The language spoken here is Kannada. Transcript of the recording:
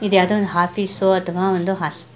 ಇದ್ ಯಾವ್ದೋ ಒಂದ್ ಆಫೀಸ ಅತಃವ ಓಂನ್ಡ್ ಹೊಸ್ --